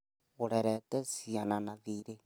ũrerete ciana na thiirĩ